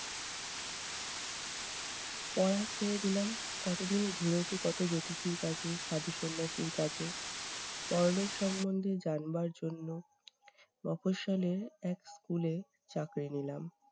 পড়া ছেড়ে দিলাম। কত দিন ঘুরেছি কত জ্যোতিষীর কাছে, কত সাধু-সন্ন্যাসীর কাছে, পরলোক সম্বন্ধে জানবার জন্য। মফস্বলের এক school এ চাকরি নিলাম।